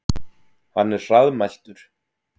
Hann er hraðmæltur.